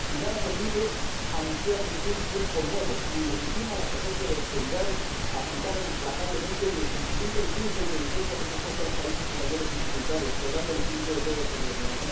pero nada permite anunciar ningún tiempo nuevo, ni legitima la estrategia de austeridad aplicada implacablemente, ni el sentimiento de culpa y penitencia que se ha impuesto a los países con mayores dificultades, quebrando el espíritu europeo de solidaridad.